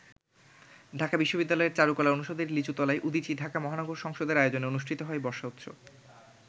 ঢাকা বিশ্ববিদ্যালয়ের চারুকলা অনুষদের লিচুতলায় উদীচী ঢাকা মহানগর সংসদের আয়োজনে অনুষ্ঠিত হয় বর্ষা উৎসব।